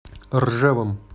ржевом